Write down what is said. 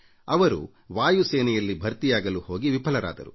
ಅವರು ವಾಯುಸೇನೆಯಲ್ಲಿ ಭರ್ತಿಯಾಗಲು ಪರೀಕ್ಷೆ ಎದುರಿಸಿ ವಿಫಲರಾದರು